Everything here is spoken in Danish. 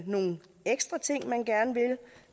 nogle ekstra ting man gerne vil